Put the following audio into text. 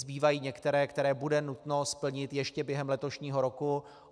Zbývají některé, které bude nutno splnit ještě během letošního roku.